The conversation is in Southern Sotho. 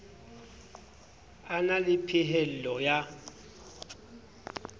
a na le phehello ya